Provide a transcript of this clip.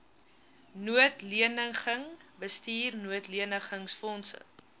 noodleniging bestuur noodlenigingsfondse